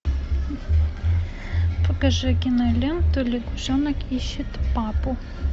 покажи киноленту лягушонок ищет папу